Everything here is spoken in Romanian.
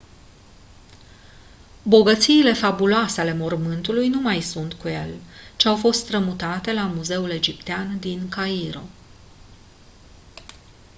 bogățiile fabuloase ale mormântului nu mai sunt în el ci au fost strămutate la muzeul egiptean din cairo